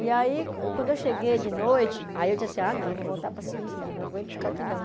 E aí, quando eu cheguei de noite, aí eu disse assim, ah, não, eu vou voltar para a Suíça, não aguento ficar aqui não.